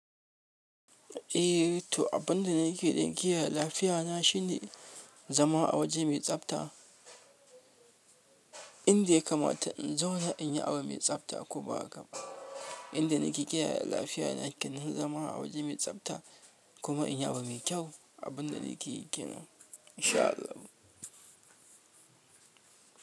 Eh to abin da nake don ƙiyaye lafiya na shine zama a waje mai tsabta inda ya kamata in zauna in yi abu mai tsabta kuma inda nake ƙiyaye lafiya na kenan zama a waje mai tsabta kuma in yi abu mai kyau. Abin da nake ƙenan in sha Allah.